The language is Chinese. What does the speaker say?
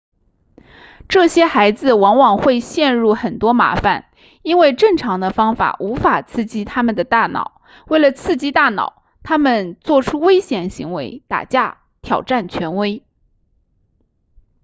这些孩子往往会陷入很多麻烦因为正常的方法无法刺激他们的大脑为了刺激大脑他们做出危险行为打架挑战权威